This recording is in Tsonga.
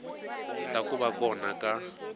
ta ku va kona ka